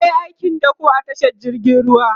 yayi aikin dakon kaya a tashar jirgin ruwa